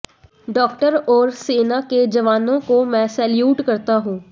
doctor और सेना के जवानों को मैं सैल्यूट करता हूं